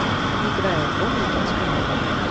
играй альбом недетское время